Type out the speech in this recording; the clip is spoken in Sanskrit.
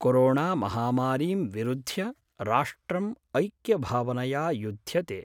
कोरोणामहामारीं विरुध्य राष्ट्रम् ऐक्यभावनया युद्ध्यते।